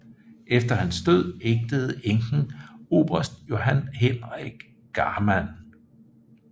Efter hans død ægtede enken oberst Johan Henrik Garman